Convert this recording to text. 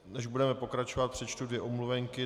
Než budeme pokračovat, přečtu dvě omluvenky.